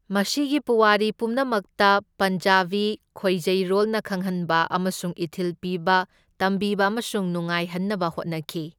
ꯃꯁꯤꯒꯤ ꯄꯨꯋꯥꯔꯤ ꯄꯨꯝꯅꯃꯛꯇ ꯄꯟꯖꯥꯕꯤ ꯈꯣꯏꯖꯩꯔꯣꯜꯅ ꯈꯪꯍꯟꯕ ꯑꯃꯁꯨꯡ ꯏꯊꯤꯜ ꯄꯤꯕ, ꯇꯝꯕꯤꯕ ꯑꯃꯁꯨꯡ ꯅꯨꯡꯉꯥꯏꯍꯟꯅꯕ ꯍꯣꯠꯅꯈꯤ꯫